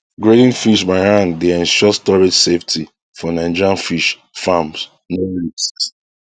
grading fish by hand dey ensure storage safety for nigerian fish farmsno risks